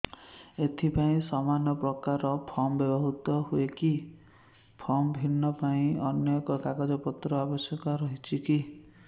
ଏଥିପାଇଁ ସମାନପ୍ରକାର ଫର୍ମ ବ୍ୟବହୃତ ହୂଏକି ଫର୍ମ ଭିନ୍ନ ଅନ୍ୟ କେଉଁ କାଗଜପତ୍ରର ଆବଶ୍ୟକତା ରହିଛିକି